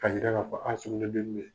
Ka yira k'a fɔ an' sugu bɛɛ be min ye